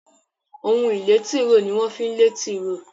Ohun ìlé tìróò ní wón fí lẹ tìróò